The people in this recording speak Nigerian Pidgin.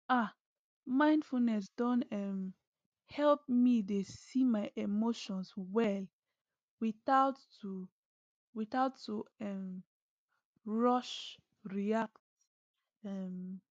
ahmindfulness don um help me dey see my emotions well without to without to um rush react um